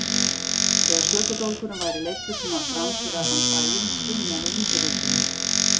Þegar sökudólgurinn væri leiddur svona fram fyrir allan bæinn og skynjaði undirölduna.